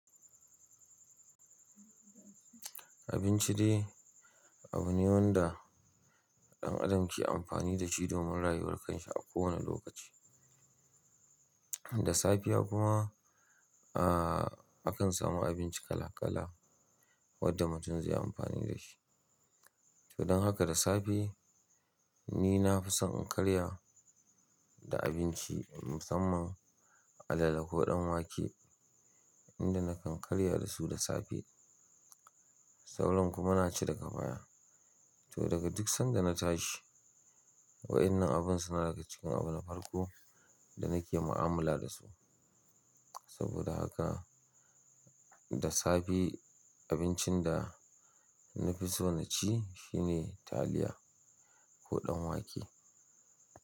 Abinci dai, abu ne wanda ɗan adam ke amfani da shi domin rayuwar kan shi a kowane lokaci. Da safiya kuma, akan samu abinci kala-kala wadda mutum zaiyi amfani da shi. To don haka da safe nina fi son in karya da abinci, musamman alale ko ɗan wake, inda nakan karya da su da safe. Sauran kuma na ci daga baya. To daga duk sanda na tashi, wa'inan abin suna daga cikin abu na farko da nake mu'amala dasu. Saboda haka, da safe abincin da na fi so na ci shi ne taliya ko ɗan wake.